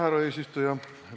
Härra eesistuja!